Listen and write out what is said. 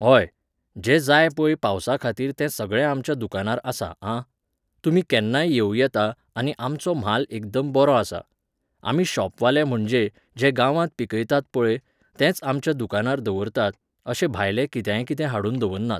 व्होय, जें जाय पोय पावसाखातीर तें सगळें आमच्या दुकानार आसा, आं. तुमी केन्नाय येवूं येता, आनी आमचो म्हाल एकदम बरो आसा. आमी शॉपवाले म्हणजे, जे गांवांत पिकयतात पळय, तेंच आमच्या दुकानार दवरतात, अशें भायलें कित्याकितेंय हाडून दवरनात.